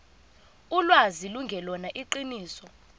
ulwazi lungelona iqiniso